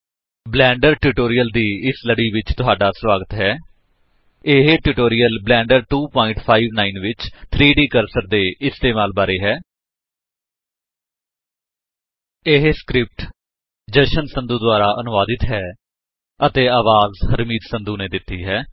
blender tutorial ਦੀ ਲੜੀ ਵਿਚ ਤੁਹਾਡਾ ਸਵਾਗਤ ਹੈ ਇਹ ਟਿਯੂਟੌਰੀਅਲ ਬਲੈਂਡਰ 2 59 ਵਿਚ 3ਡ ਕਰਸਰ ਦੇ ਇਸਤੇਮਾਲ ਬਾਰੇ ਹੈ ਇਹ ਸਕਰਿਪਟ ਜਸ਼ਨ ਸੰਧੂ ਦੁਆਰਾ ਅਨੁਵਾਦਿਤ ਹੈ ਅਤੇ ਅਵਾਜ ਹਰਮੀਤ ਸੰਧੂ ਨੇ ਦਿੱਤੀ ਹੈ